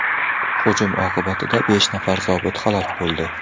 Hujum oqibatida besh nafar zobit halok bo‘ldi.